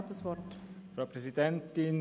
Er hat das Wort.